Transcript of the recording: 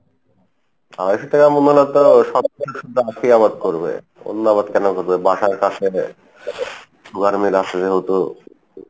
আড়াইশো টাকা কে আবাদ করবে বাসার কাছে sugar meal আসে যেহেতু,